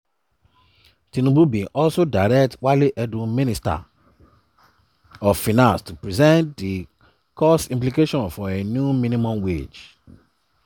tinubu bin also direct wale edun minister of finance to present di cost implications for a new minimum wage.